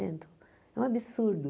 Cento é um absurdo.